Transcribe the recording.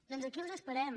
doncs aquí els esperem